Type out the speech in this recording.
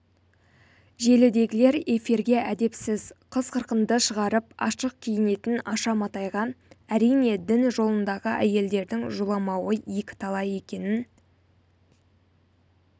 желідегілер эфирге әдепсіз қыз-қырқынды шығарып ашық киінетін аша матайға әрине дін жолындағы әйелдердің жоламауы екіталай екенін